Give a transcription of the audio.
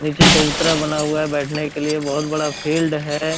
नीचे चबूतरा बना हुआ है बैठने के लिए बहुत बड़ा फील्ड है।